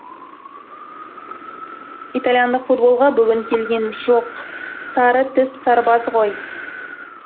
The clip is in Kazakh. итальяндық футболға бүгін келген жоқ сары тіс сарбаз ғой